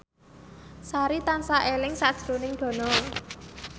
Sari tansah eling sakjroning Dono